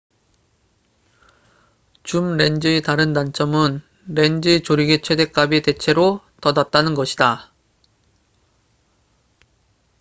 줌렌즈의 다른 단점은 렌즈의 조리개속도 최댓값이 대체로 더 낮다는 것이다